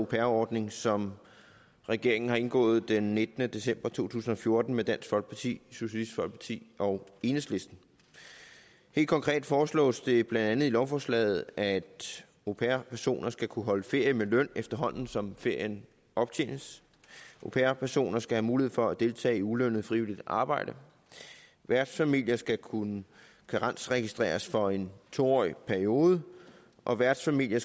pair ordning som regeringen har indgået den nittende december to tusind og fjorten med dansk folkeparti socialistisk folkeparti og enhedslisten helt konkret foreslås det blandt andet i lovforslaget at au pair personer skal kunne holde ferie med løn efterhånden som ferien optjenes au pair personer skal have mulighed for at deltage i ulønnet frivilligt arbejde værtsfamilier skal kunne karensregistreres for en to årig periode og værtsfamilier